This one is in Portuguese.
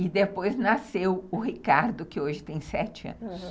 E depois nasceu o Ricardo, que hoje tem sete anos, aham.